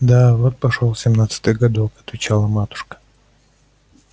да вот пошёл семнадцатый годок отвечала матушка